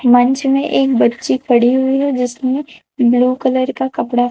मंच में एक बच्ची पड़ी हुई है जिसने ब्लू कलर का कपड़ा--